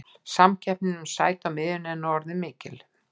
Samkeppnin um sæti á miðjunni er nú orðin mikil.